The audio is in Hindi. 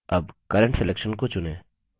अब current selection को चुनें